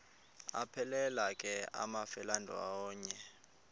aphelela ke amafelandawonye